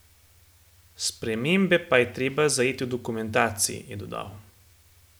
Spremembe pa je treba zajeti v dokumentaciji, je dodal.